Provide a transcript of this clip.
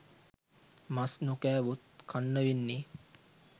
මස් නොකෑවොත් කන්න වෙන්නේ